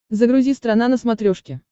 загрузи страна на смотрешке